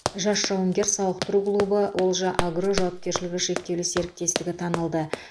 жас жауынгер сауықтыру клубы олжа агро жауапкершілігі шектеулі серіктестігі танылды